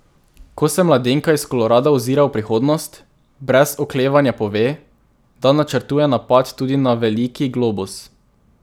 Ko se mladenka iz Kolorada ozira v prihodnost, brez oklevanja pove, da načrtuje napad tudi na veliki globus.